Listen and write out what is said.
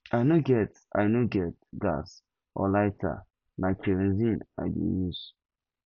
i no get i no get gas or lighter na kerosene i dey use